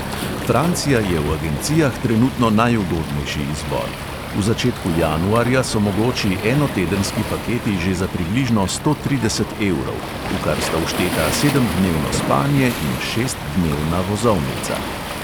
Francija je v agencijah trenutno najugodnejši izbor: v začetku januarja so mogoči enotedenski paketi že za približno sto trideset evrov, v kar sta všteta sedemdnevno spanje in šestdnevna vozovnica.